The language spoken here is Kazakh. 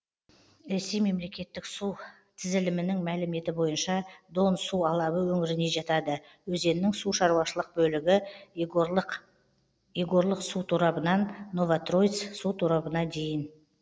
ресей мемлекеттік су тізілімінің мәліметі бойынша дон су алабы өңіріне жатады өзеннің сушаруашылық бөлігі егорлык егорлык су торабынан новотроиц су торабына дейін